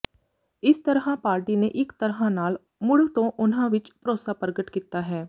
ਇਸ ਤਰ੍ਹਾਂ ਪਾਰਟੀ ਨੇ ਇੱਕ ਤਰ੍ਹਾਂ ਨਾਲ ਮੁੜ ਤੋਂ ਉਨ੍ਹਾਂ ਵਿੱਚ ਭਰੋਸਾ ਪ੍ਰਗਟ ਕੀਤਾ ਹੈ